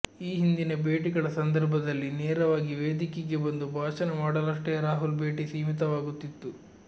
ಈ ಹಿಂದಿನ ಭೇಟಿಗಳ ಸಂದರ್ಭದಲ್ಲಿ ನೇರವಾಗಿ ವೇದಿಕೆಗೆ ಬಂದು ಭಾಷಣ ಮಾಡಲಷ್ಟೇ ರಾಹುಲ್ ಭೇಟಿ ಸೀಮಿತವಾಗುತ್ತಿತ್ತು